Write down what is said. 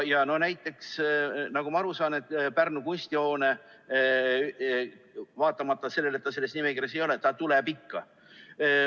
Näiteks, nagu ma aru saan, Pärnu kunstihoone, vaatamata sellele, et ta selles nimekirjas ei ole, tuleb ikka.